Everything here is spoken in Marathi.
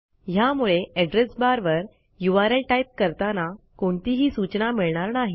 ह्यामुळे एड्रेस बार वर यूआरएल टाईप करताना कोणतीही सूचना मिळणार नाही